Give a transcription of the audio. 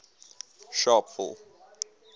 sharpeville